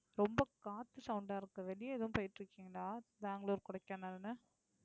ரொம்ப காத்து sound ஆ இருக்கு. வெளிய எதுவும் போயிட்டு இருக்கீங்களா பெங்களூரு கொடைக்கானல்ன்னு.